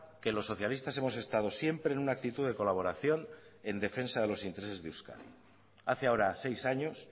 que los socialistas hemos estado siempre en una actitud de colaboración en defensa de los intereses de euskadi hace ahora seis años